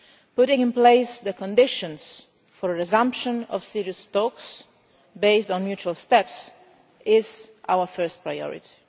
Putting in place the conditions for a resumption of serious talks based on mutual steps is our first priority.